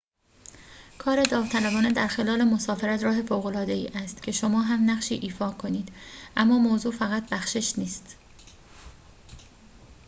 کار داوطلبانه در خلال مسافرت راه فوق‌العاده‌ای است که شما هم نقشی ایفا کنید اما موضوع فقط بخشش نیست